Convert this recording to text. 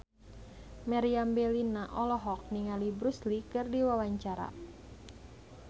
Meriam Bellina olohok ningali Bruce Lee keur diwawancara